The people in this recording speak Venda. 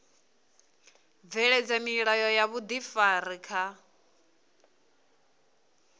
bveledza milayo ya vhuifari kha